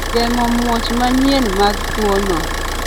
geng'o "muoch manyien mag tuono"